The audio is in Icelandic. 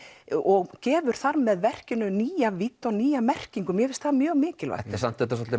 og gefur þar með verkinu nýja vídd og nýja merkingu mér finnst það mjög mikilvægt þetta er